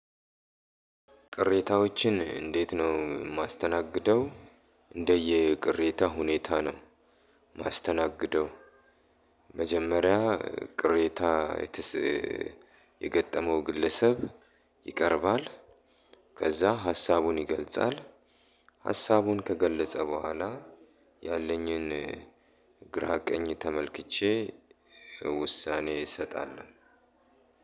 ቅሬታዎችን እንዴት ነው የማስተናግደው? እንደየ ቅሬታ ሁኔታ ነው ማስተናገደው። መጀመሪያ ቅሬታ የገጠመው ግለሰብ ይቀርባል። ከዛ ሀሳቡን ይገልጻል ሀሳቡን ከገለጸ በኋላ። ያለኝን ግራ ቀኝ ተመልክቼ ውሳኔ እሰጣለሁ።